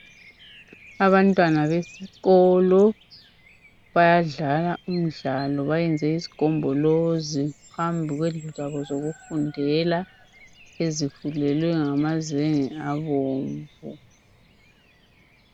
Abantwana besikolo bayadlala umdlalo bayenze isigombolozi phambi kwendlu zabo zokufundela ezifulelwe ngamazenge abomvu.